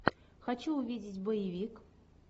хочу увидеть боевик